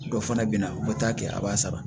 Dɔ fana bɛ na u bɛ taa kɛ a b'a sara